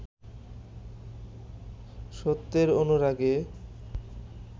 সত্যের অনুরাগে